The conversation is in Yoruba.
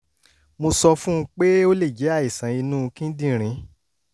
mo sọ fún un pé ó lè jẹ́ àìsàn inú kíndìnrín